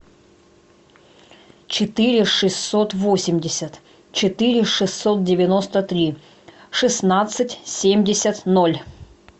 четыре шестьсот восемьдесят четыре шестьсот девяносто три шестнадцать семьдесят ноль